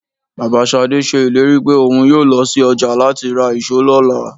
Ìyá Ṣadé ṣe ìlérí pé òun yóò lọ sí ọjà láti ra ìṣó lọ́la.